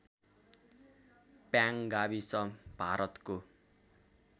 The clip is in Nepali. प्याङ गाविस भारतको